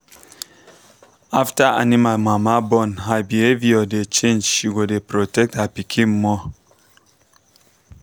after animal mama born her behavior dey change she go dey protect her pikin more.